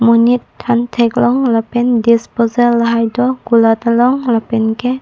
monit phan thek long lapen ke disposal lahai do kulat along lapen ke--